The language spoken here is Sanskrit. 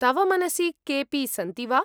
तव मनसि केऽपि सन्ति वा?